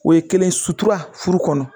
O ye kelen sutura furu kɔnɔ